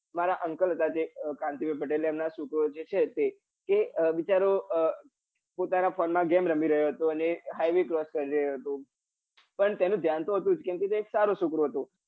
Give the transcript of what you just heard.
મારા uncle હતા ટતે કાંતિભાઈ પટેલ એના છોકરો જ છે એ તે બિચારો પોતાના phone માં game રમી રમતો હતો ને હાઈવે cross કરી રયો હતો પણ તેનું દયાન તો હતું જ કેમ કે એ સારો છોકરો હતો